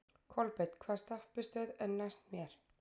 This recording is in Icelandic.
Kolbeinn, hvaða stoppistöð er næst mér?